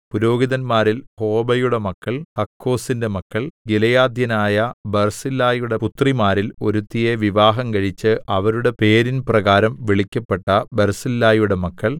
പുരോഹിതന്മാരിൽ ഹോബയുടെ മക്കൾ ഹക്കോസ്സിന്റെ മക്കൾ ഗിലെയാദ്യനായ ബർസില്ലായിയുടെ പുത്രിമാരിൽ ഒരുത്തിയെ വിവാഹംകഴിച്ച് അവരുടെ പേരിൻ പ്രകാരം വിളിക്കപ്പെട്ട ബർസില്ലായിയുടെ മക്കൾ